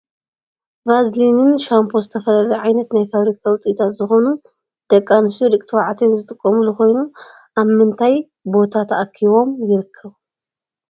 ቫዝልንን ሻንፖ ዝተፈላለዩ ዓይነት ናይ ፋብሪካ ውፅኢታት ዝኮኑ ደቂ ኣንስትዮ ደቂ ተባዕትዮን ዝጥቀምሉ ኮይኑ ኣብ ምንታይ ቦታ ተኣኪቦም ይርከብ ?